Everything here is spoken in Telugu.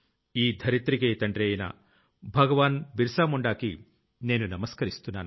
ఈ ధరిత్రికే తండ్రి అయిన భగవాన్ బిరసా ముండ్ కి నేను నమస్కరిస్తున్నాను